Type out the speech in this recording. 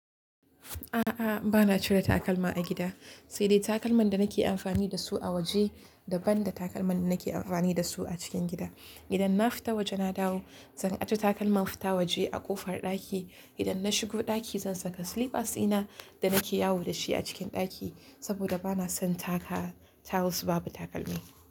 A'a, ba na cire takalma a gida, sai dai takalman da nake amfani da su a waje daban da takalman da nake amfani da su a cikin gida. Idan na fita waje na dawo, zan ajiye takalman fita waje a ƙofar ɗaki. Idan na shigo ɗaki zan saka slippers dina da nake yawo da shi a cikin ɗaki saboda bana son taka tiles babu takalmi.